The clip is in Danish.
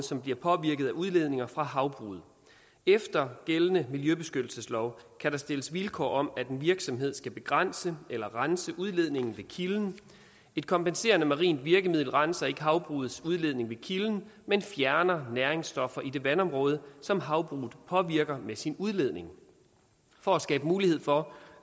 som bliver påvirket af udledninger fra havbruget efter gældende miljøbeskyttelseslov kan der stilles vilkår om at en virksomhed skal begrænse eller rense udledningen ved kilden et kompenserende marint virkemiddel renser ikke havbrugets udledning ved kilden men fjerner næringsstoffer i det vandområde som havbruget påvirker med sin udledning for at skabe mulighed for